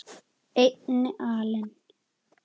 einni alin